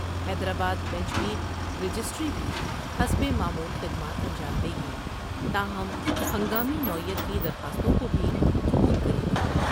حیدرآ با د بینچ کی رجسٹری بھی حسب معمول خدمات انجام دے گی تاہم ہنگامی نوعیت کی درخواستوں کو بھی قبول کرے گی ۔